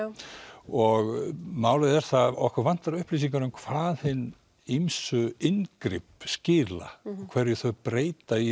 og málið er það að okkur vantar upplýsingar um hvað hin ýmsu inngrip skila hverju þau breyta í